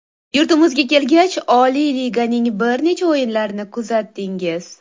Yurtimizga kelgach, oliy liganing bir necha o‘yinlarni kuzatdingiz.